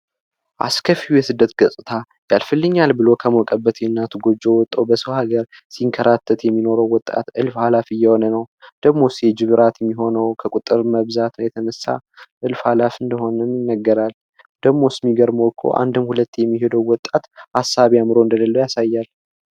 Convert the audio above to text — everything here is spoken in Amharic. አስከፊው የስደት ገጽታ ያልፍልኛል ብሎ ከናቱ የሞቀ ጎጆ ወጥቶ በሰው ሃገር ሲንከራተት የሚኖረው ወጣት እልፍ ኃላፊ እየሆነ ነው። ደሞስ የጂብ እራት የሚሆነው ከቁጥር ብዛት የተነሳ እልፍ አላፊ እንደሆነ ይነገራል። ደግሞስ የሚገርመው እኮ ካንዴም ሁለቴ የሚሄደው ወጣት ሀሳብ እንደሌለው ያሳያል።